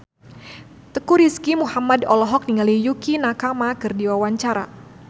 Teuku Rizky Muhammad olohok ningali Yukie Nakama keur diwawancara